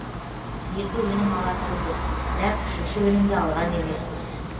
екі өнім алатұғынбыз бірақ үшінші өнімді алған емеспіз